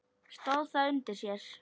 Stóð það undir sér?